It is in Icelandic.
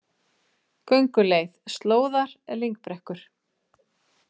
Gönguleið: Slóðar, lyngbrekkur.